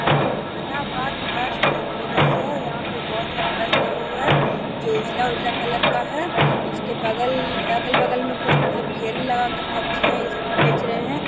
Jehanabad bus terminal है | यहाँ पे बहुत सारा बस लगा हुआ है जो उजला उजला कलर का है इसके बगल अगल बगल में कुछ मतलब ठेला लगा कर सब्जिया ये सब भी बेच रहे हैं I